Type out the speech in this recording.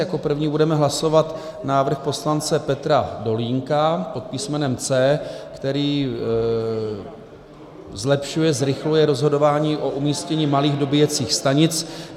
Jako první budeme hlasovat návrh poslance Petra Dolínka pod písmenem C, který zlepšuje, zrychluje rozhodování o umístění malých dobíjecích stanic.